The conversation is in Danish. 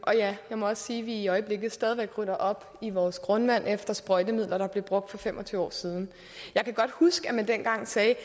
og ja jeg må også sige at vi i øjeblikket stadigvæk rydder op i vores grundvand efter sprøjtemidler der blev brugt for fem og tyve år siden jeg kan godt huske at man dengang sagde